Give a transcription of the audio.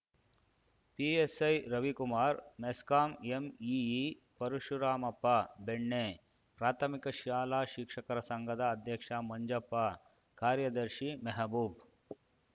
PSI Ravikumar MESCOM AEE Parashuramappa Benne ಪ್ರಾಥಮಿಕ ಶಾಲಾ ಶಿಕ್ಷಕರ ಸಂಘದ ಅಧ್ಯಕ್ಷ ಮಂಜಪ್ಪ ಕಾರ್ಯದರ್ಶಿ ಮೆಹಬೂಬ್‌